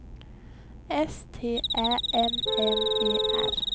S T Ä M M E R